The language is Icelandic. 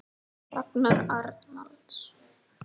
Ragnar Arnalds